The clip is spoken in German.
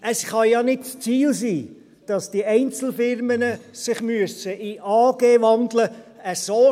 – Es kann ja nicht das Ziel sein, dass die Einzelfirmen sich in AGs umwandeln müssen.